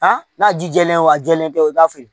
n'a ji jɛlen don a jɛlen tɛ o t'a feere